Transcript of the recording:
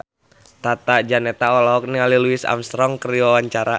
Tata Janeta olohok ningali Louis Armstrong keur diwawancara